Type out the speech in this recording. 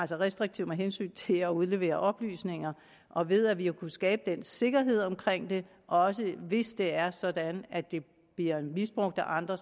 så restriktivt med hensyn til at udlevere oplysninger og ved at vi har kunnet skabe den sikkerhed omkring det også hvis det er sådan at det bliver misbrugt af andre